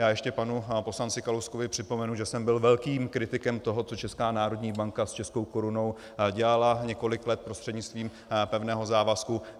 Já ještě panu poslanci Kalouskovi připomenu, že jsem byl velkým kritikem toho, co Česká národní banka s českou korunou dělala několik let prostřednictvím pevného závazku.